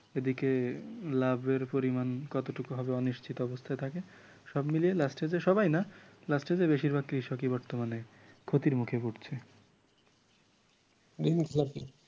এদিকে লাভের পরিমাণ কতটুকু হবে অনিশ্চিত অবস্থায় থাকে সব মিলিয়ে last যেয়ে সবাই না last যেয়ে বেশিরভাগ কৃষকই বর্তমানে ক্ষতির মুখে পড়ছে